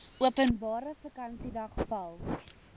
openbare vakansiedag val